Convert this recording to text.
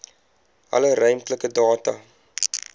alle ruimtelike data